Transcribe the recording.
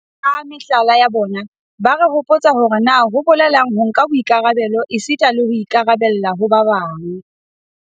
Ka mehlala ya bona, ba re hopotsa hore na ho bolelang ho nka boikarabelo esita le ho ikarabella ho ba bang.